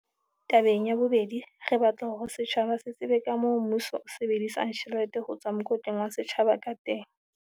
"Tabeng ya bobedi, re batla hore setjhaba se tsebe kamoo mmuso o sebedisang tjhelete ho tswa mokotleng wa setjhaba ka teng."